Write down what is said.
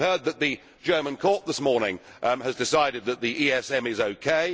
We have heard that the German court this morning has decided that the ESM is OK.